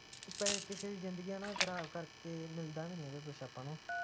ਕਿਸੇ ਦੀ ਜ਼ਿੰਦਗੀ ਹੈਨਾ ਖਰਾਬ ਕਰਕੇ ਕਿ ਮਿਲਦਾ ਵੀ ਕੀ ਆਪਾ ਨੂੰ